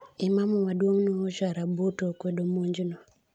Imamu maduong' Nuhu Sharabutu okwedo monj no.